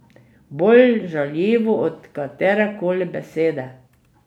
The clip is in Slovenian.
Bolj žaljivo od katerekoli besede.